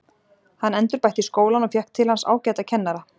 Hann endurbætti skólann og fékk til hans ágæta kennara.